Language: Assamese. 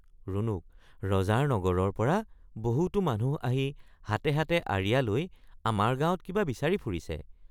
ৰুণুক—ৰজাৰ নগৰৰপৰা বহুতো মানুহ আহি হাতে হাতে আঁৰিয়া লৈ আমাৰ গাঁৱত কিবা বিচাৰি ফুৰিছে।